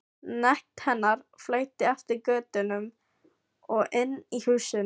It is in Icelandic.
Nekt hennar flæddi eftir götunum og inn í húsin.